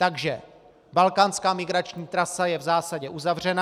Takže balkánská migrační trasa je v zásadě uzavřena.